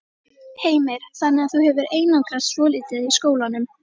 Heimir: Þannig að þú hefur einangrast svolítið í skólanum?